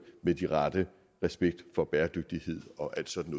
med den rette respekt for bæredygtighed og alt sådan